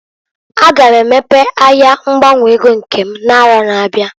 A ga m emepe ahịa ngbanwe ego nke m n'arọ na-abịa.